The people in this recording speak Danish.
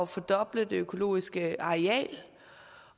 fordoble det økologiske areal